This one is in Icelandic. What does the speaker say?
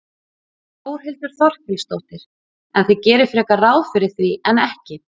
Þórhildur Þorkelsdóttir: En þið gerið frekar ráð fyrir því en ekki?